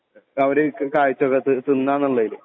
അവര് കാഴ്ച്ച വെക്കുവാ തിന്നുവാന്നുള്ളതില്